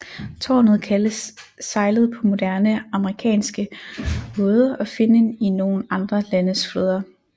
Tårnet kaldes sejlet på moderne amerikanske både og finnen i nogle andre landes flåder